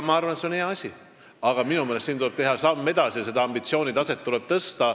Ma arvan, et see on hea asi, aga minu meelest tuleb teha samm edasi ja ambitsioonitaset tõsta.